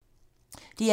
DR1